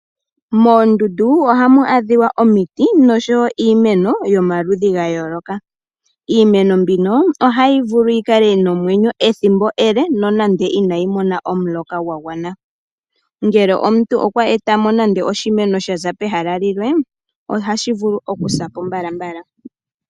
Moondundu ohamu adhika omiti noshowo iimeno yomaludhi ga yooloka. Iimeno mbino ohayi vulu yikale nomwenyo ethimbo ele nonando inayi mona omuloka gwagwana ,ngele omuntu okwa etamo nande oshimeno shaza pehala limwe ohashi vulu okusapo mbala.